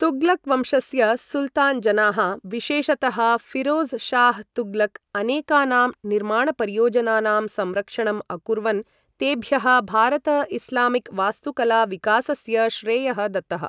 तुग्लक् वंशस्य सुल्तान् जनाः, विशेषतः फिरोज़ शाह् तुग्लक्, अनेकानां निर्माणपरियोजनानां संरक्षणम् अकुर्वन्, तेभ्यः भारत इस्लामिक् वास्तुकला विकासस्य श्रेयः दत्तः।